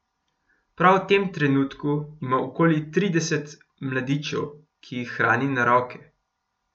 Prav v tem trenutku ima okoli trideset mladičev, ki jih hrani na roke.